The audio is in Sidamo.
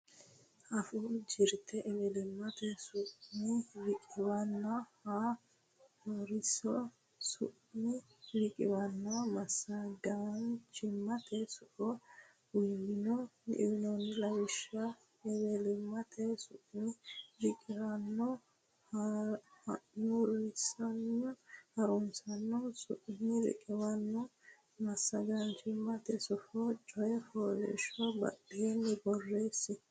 Afuu Jirte Ewelimmate su mi riqiwaano Ha nurisaano su mi riqiwaanonna Massagaanchimmate Sufo uynoonni lawishshi ewelimmate su mi riqiwaano ha nurisaano su mi riqiwaanonna massagamaanchimmate sufo coy fooliishsho baddine borreesse.